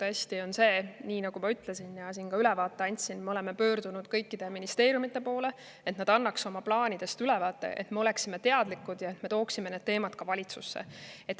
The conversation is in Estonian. Tõesti, nii nagu ma ütlesin ja ka ülevaate andsin, me oleme pöördunud kõikide ministeeriumide poole, et nad annaks oma plaanidest ülevaate, et me oleksime teadlikud ja tooksime need teemad valitsusse.